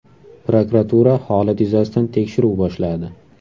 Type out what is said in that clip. Prokuratura holat yuzasidan tekshiruv boshladi.